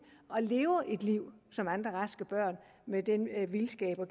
og lever et liv som andre raske børn med den vildskab og